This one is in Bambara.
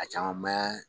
A caman mɛ yan